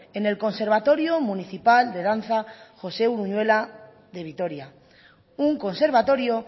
en el conservatorio municipal de danza josé uruñuela de vitoria un conservatorio